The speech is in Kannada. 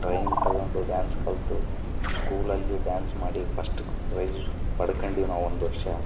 ಮೈನಾ ಕರಗಿಸಬೇಕಂತೆ ಹೇಳಿ ಯೋಗ ಮಾಡುವುದು ಅದನ್ನು ಅಭ್ಯಾಸ ಮಾಡ್ತಾ ಇದ್ದೀವಿ.